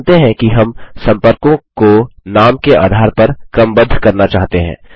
मानते हैं कि हम सम्पर्कों को नाम के आधार पर क्रमबद्ध करना चाहते हैं